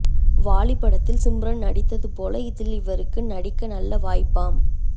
வாலி படத்தில்சிம்ரன் நிடித்தது போல இதில் இவருக்கு நடிக்க நல்ல வாய்ப்பாம்